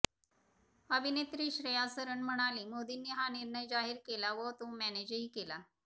अभिनेत्री श्रेया सरन म्हणाली मोदींनी हा निर्णय जाहीर केला व तो मॅनेजही केला